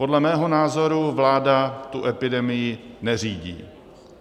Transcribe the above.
Podle mého názoru vláda tu epidemii neřídí.